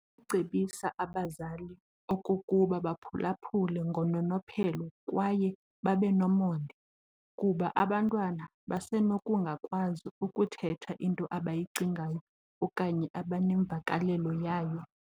Ucebisa abazali okokuba baphulaphule ngononophelo kwaye babe nomonde, kuba abantwana basenokungakwazi ukuthetha into abayicingayo okanye abanemvakalelo yayo.